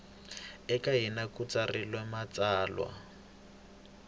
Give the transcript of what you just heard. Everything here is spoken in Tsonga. eka hina ku tsarilo matsalwa